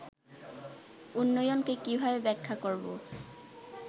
উন্নয়নকে কীভাবে ব্যাখ্যা করব